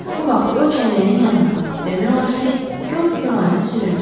Bu vaxt o çəlləyin yanına, demək olar ki, karkoranə süründü.